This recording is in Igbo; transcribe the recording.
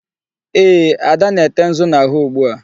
Eeh, Ada na-ete nzu n'ahụ ugbu a.